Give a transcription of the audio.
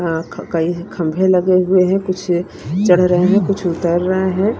हां कई खंभे लगे हुए हैं कुछ चढ़ रहे हैं कुछ उतर रहे हैं।